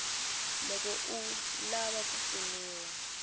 loko u lava ku pfuniwa